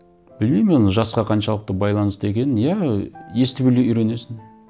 білмеймін оны жасқа қаншалықты байланысты екенін иә ы естіп үйренесің